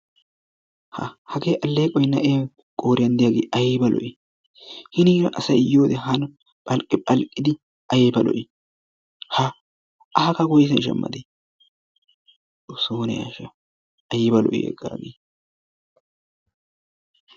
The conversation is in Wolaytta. Ha hagee aleeqoy na'ee qooriyan diyaagee aybba lo'ii? Hiniira asay yiyode pal phal'idi aybba lo'ii. Ha a haga woysan shamadee xooso ne ashsha ayba lo'ii.